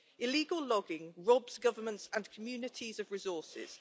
Illegal logging robs governments and communities of resources.